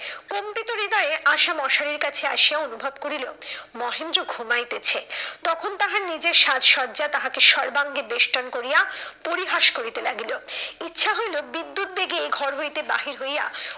কম্পিত হৃদয়ে আশা মশারির কাছে আসিয়া অনুভব করিল মহেন্দ্র ঘুমাইতেছে। তখন তাহার নিজের সাজ সজ্জা তাহাকে সর্বাঙ্গে বেষ্টন করিয়া পরিহাস করিতে লাগিল। ইচ্ছা হইলো বিদ্যুৎ বেগে এ ঘর হইতে বাহির হইয়া,